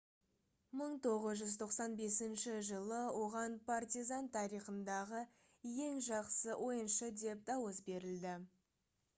1995 жылы оған partizan тарихындағы ең жақсы ойыншы деп дауыс берілді